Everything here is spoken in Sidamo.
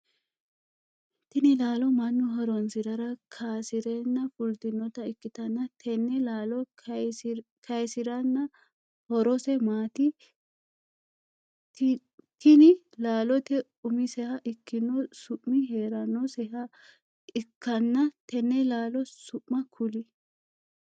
Tinni laallo mannu horoonsirara kaasireenna fultinota ikitanna tenne laallo kayisirinna horose maati? Tinne laalote umiseha ikino su'mi heeranoseha ikanna tenne laallo su'ma kuli?